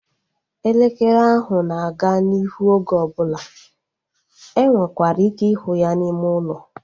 Elekere ahụ na-aga n'ihu oge ọbụla. E nwekwara ike ịhụ ya n'ime ụlọ